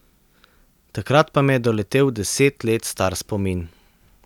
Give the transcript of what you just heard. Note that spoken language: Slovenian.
Takrat pa me je doletel deset let star spomin.